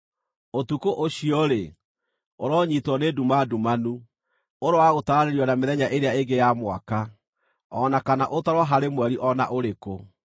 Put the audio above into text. Ũtukũ ũcio-rĩ, ũronyiitwo nĩ nduma ndumanu; ũroaga gũtaranĩrio na mĩthenya ĩrĩa ĩngĩ ya mwaka, o na kana ũtarwo harĩ mweri o na ũrĩkũ.